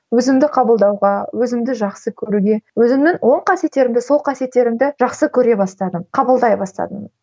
өзімді қабылдауға өзімді жақсы көруге өзімнің оң қасиеттерімді сол қасиеттерімді жақсы көре бастадым қабылдай бастадым